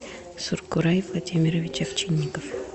суркурай владимирович овчинников